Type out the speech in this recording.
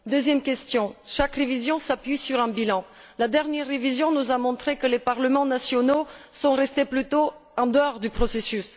Deuxième question chaque révision s'appuie sur un bilan et la dernière révision nous a montré que les parlements nationaux étaient restés plutôt en dehors du processus.